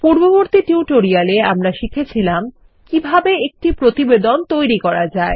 পূর্ববর্তী টিউটোরিয়াল এ আমরা শিখেছিলামকিভাবে একটি প্রতিবেদনতৈরি করা যায়